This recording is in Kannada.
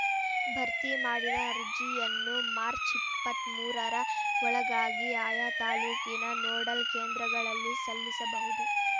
ಭರ್ತಿ ಮಾಡಿದ ಅರ್ಜಿಯನ್ನು ಮಾರ್ಚ್ ಇಪ್ಪತ್ತ್ ಮೂರರ ಒಳಗಾಗಿ ಆಯಾ ತಾಲೂಕಿನ ನೋಡಲ್‌ ಕೇಂದ್ರಗಳಲ್ಲಿ ಸಲ್ಲಿಸಬಹುದು